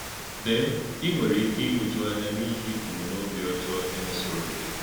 Ǹeè̄, í nwere íké íhụ́jụ̀ ànyá̄ n’íhì̄ òmùmè̄ òbí ọ́jọọ̄ e mèsòrò̄ gị̄.